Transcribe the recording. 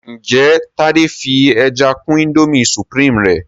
njé Tade fí ẹja kún Indomie supreme rẹ?